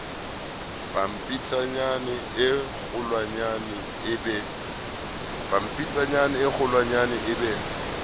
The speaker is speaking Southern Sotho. pampitshaneng e kgolwanyane e be